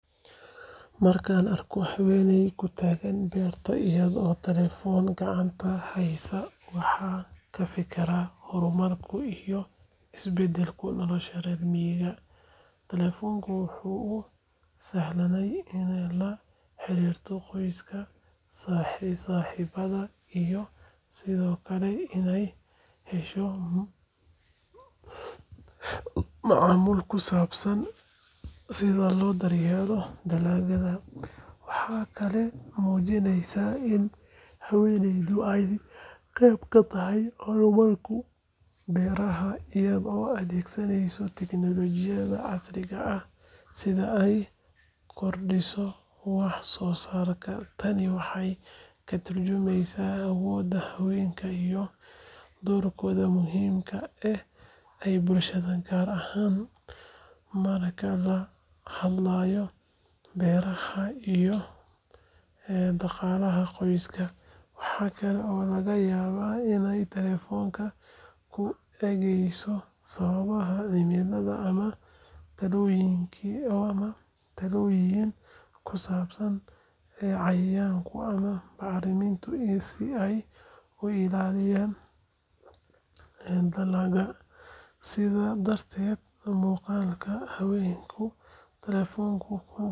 Markaan arkan habeney taagan beerta, waxaan kafikira hormarka reer miiga, wuxuu usahle inaay la xariirta qoyska, waxaa mujineyso inaay qeyb katahay beeraha si aay ukordiso wax soo saarka, doorkooda muhiimka ee bulshada, waxaa laga yaaba inaay ka egeyso talooyin kusabsan cayayaanka si aay u ilaaliso dalaga.